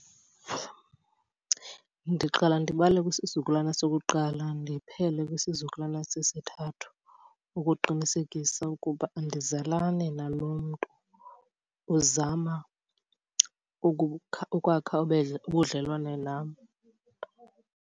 Ndiqala ndibale kwisizukulwana sokuqala ndiphele kwisizukulwana sesithathu ukuqinisekisa ukuba andizalani nalo mntu uzama ukukha ukwakha ubudlelwane nam.